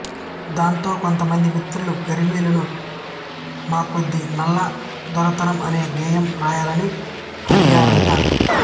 దాంతో కొంతమంది మిత్రులు గరిమెళ్ళను మాకొద్దీ నల్ల దొరతనం అనే గేయం వ్రాయలని అడిగారట